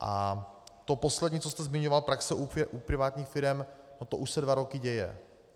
A to poslední, co jste zmiňoval, praxe u privátních firem, no to už se dva roky děje.